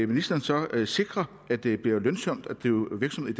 ministeren så sikre at det bliver lønsomt at drive virksomhed